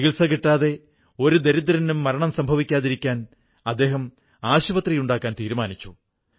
ചികിത്സ കിട്ടാതെ ഒരു ദരിദ്രന്റെയും മരണം സംഭവിക്കാതിരിക്കാൻ അദ്ദേഹം ആശുപത്രിയുണ്ടാക്കാൻ തീരുമാനിച്ചു